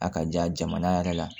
A ka ja jamana yɛrɛ la